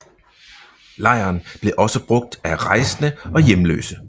Lejren blev også brugt af rejsende og hjemløse